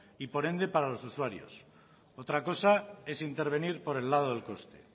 y por ende para los usuarios otra cosa es intervenir por el lado del coste